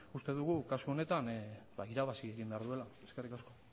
uste dugu kasu honetan irabazi egin behar duela eskerrik asko